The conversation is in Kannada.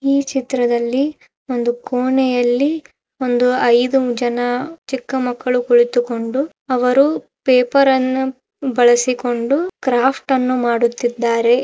ಈ ಚಿತ್ರದಲ್ಲಿ ಒಂದು ಕೊನೆಯಲ್ಲಿ ಒಂದು ಐದು ಜನ ಚಿಕ್ಕ ಮಕ್ಕಳ. ಕುಳಿತುಕೊಂಡು ಅವರು ಪೇಪರ್ ಅನ್ನು ಬಳಸಿಕೊಂಡು ಅವರು ಕ್ರಾಫ್ಟ್ ಅನ್ನು ಮಾಡುತ್ತಿದ್ದಾರೆ.